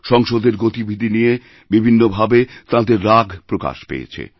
সংসদের গতিবিধি নিয়ে বিভিন্ন ভাবে তাঁদের রাগপ্রকাশ পেয়েছে